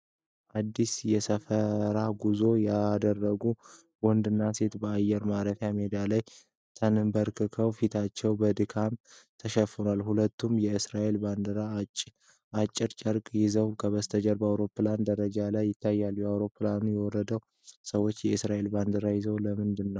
አዲስ የሰፈራ ጉዞ ያደረጉ ወንድና ሴት በአየር ማረፊያ ሜዳ ላይ ተንበርክከው ፊታቸውን በክንዳቸው ሸፍነዋል። ሁለቱም የእስራኤልን ባንዲራ አጭር ጨርቆች ይዘዋል፣ ከበስተጀርባ አውሮፕላን ደረጃው ላይ ይታያል። ከአውሮፕላኑ የወረዱት ሰዎች የእስራኤልን ባንዲራ የያዙት ለምንድን ነው?